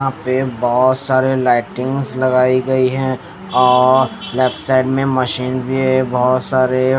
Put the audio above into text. यहाँ पे बहुत सारे लइटिंग्स लगाई गई हैं और लेफ्ट साइड में मशीन भी हैं बहुत सारे--